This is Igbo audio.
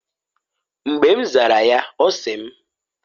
Mgba m zara ya ọ sị mː